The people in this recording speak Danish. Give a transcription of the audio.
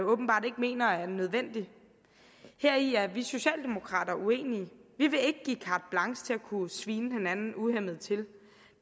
åbenbart ikke mener er nødvendig heri er vi socialdemokrater uenige vi vil ikke give carte blanche til at kunne svine hinanden uhæmmet til